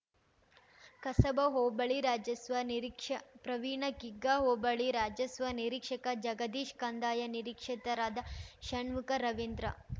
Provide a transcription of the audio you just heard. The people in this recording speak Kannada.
ಕಸಬಾ ಹೋಬಳಿ ರಾಜಸ್ವ ನಿರೀಕ್ಷ ಪ್ರವೀಣ್‌ ಕಿಗ್ಗಾ ಹೋಬಳಿ ರಾಜಸ್ವ ನಿರೀಕ್ಷಕ ಜಗದೀಶ್‌ ಕಂದಾಯ ನಿರೀಕ್ಷತರಾದ ಷಣ್ಮುಖ ರವೀಂದ್ರ